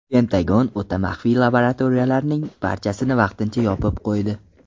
Pentagon o‘ta maxfiy laboratoriyalarining barchasini vaqtincha yopib qo‘ydi.